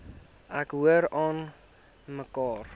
ek hoor aanmekaar